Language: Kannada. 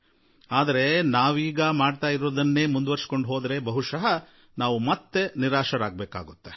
ಆದರೆ ಇಲ್ಲಿಯವರೆಗೆ ಮಾಡಿಕೊಂಡು ಬಂದಿದ್ದನ್ನೇ ಮಾಡುತ್ತಿದ್ದರೆ ಪ್ರಾಯಶಃ ನಾವು ನಿರಾಶರಾಗುತ್ತೇವೆ